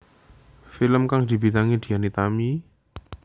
Film kang dibintangi Dian Nitami